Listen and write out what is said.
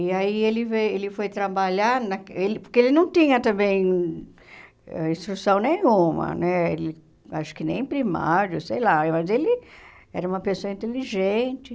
E aí ele veio ele foi trabalhar, naquele porque ele não tinha também ãh instrução nenhuma né, ele acho que nem primário, sei lá, mas ele era uma pessoa inteligente.